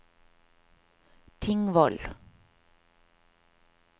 Tingvoll